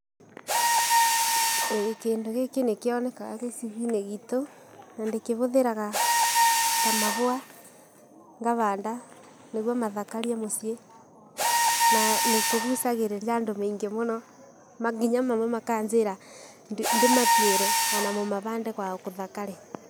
ĩĩ kĩndũ gĩkĩ nĩkĩonekaga gĩcigo-inĩ gitũ na ndĩkĩhũthĩraga ta mabũa ngabanda nĩguo mathakarie mũciĩ. Na nĩkĩgucagĩrĩria andũ maingĩ mũno nginya mamwe makanjĩra ndĩmatuĩre onamo mabande kwao kũthakare.